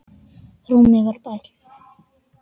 Rúmið var bælt.